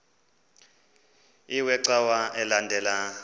iwe cawa elandela